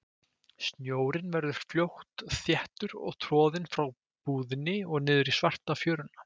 Snjórinn verður fljótt þéttur og troðinn frá búðinni og niður í svarta fjöruna.